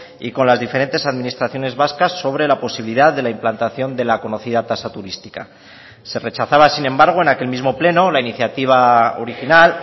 y con las diferentes administraciones vascas sobre la posibilidad de la implantación de la conocida tasa turística se rechazaba sin embargo en aquel mismo pleno la iniciativa original